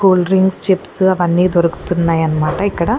Cool drinks chips అవన్నీ దొరుకుతున్నాయనమాట ఇక్కడ.